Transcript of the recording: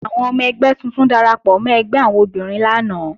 Àwọn ọmọ ẹgbẹ́ tuntun darapọ̀ mọ́ ẹgbẹ́ àwọn obìnrin lánàá